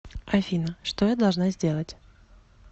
афина что я должна сделать